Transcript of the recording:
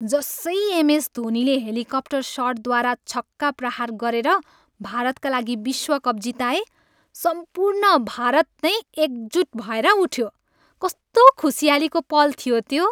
जसै M S धोनीले helicopter सटद्वारा छक्का प्रहार गरेर भारतका लागि विश्वकप जिताए, सम्पूर्ण भारत नै एकजुट भएर उठ्यो। कस्तो खुसियालीको पल थियो त्यो!